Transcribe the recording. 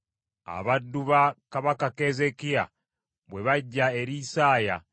Abaddu ba kabaka Keezeekiya bwe bajja eri Isaaya,